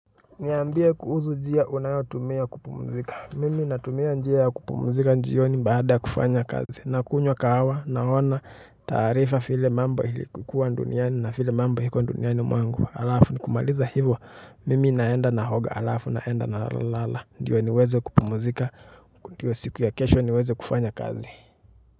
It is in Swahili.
Niambie kuhusu njia unayotumia kupumuzika. Mimi natumia njia ya kupumzika jioni baada ya kufanya kazi nakunywa kahawa, naona taarifa vile mambo ilivyokuwa duniani na vile mambo ilivyo duniani. Alafu nikimaliza hivo. Mimi naenda naoga. Alafu naenda nalala. Ndio niweze kupumzika ndio siku ya kesho niweze kufanya kazi.